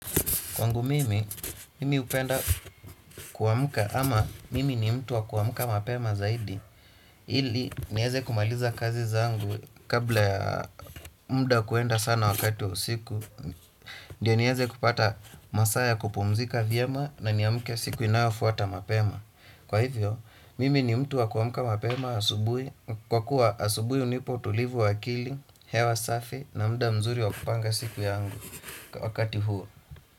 Kwangu mimi, mimi hupenda kuamka ama mimi ni mtu wa kuamka mapema zaidi ili, niweze kumaliza kazi zangu kabla ya muda kuenda sana wakati wa usiku ndio niweze kupata masaa ya kupumzika vyema na niamke siku inayofuata mapema. Kwa hivyo, mimi ni mtu wa kuamka mapema asubuhi kwa kuwa asubuhi hunipa utulivu wa akili, hewa safi na muda mzuri wa kupanga siku yangu wakati huo.